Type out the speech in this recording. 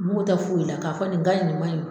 U mago tɛ foyi la ka fɔ nin ka ɲi nin man ɲi